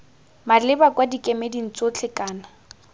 maleba kwa dikemeding tsotlhe kana